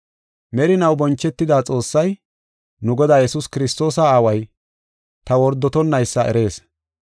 Merinaw bonchetida Xoossay, nu Godaa Yesuus Kiristoosa Aaway, ta wordotonnaysa erees.